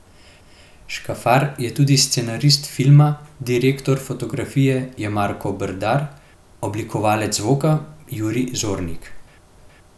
Škafar je tudi scenarist filma, direktor fotografije je Marko Brdar, oblikovalec zvoka Julij Zornik.